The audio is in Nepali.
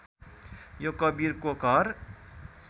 यो कवीरको घर